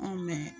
Anw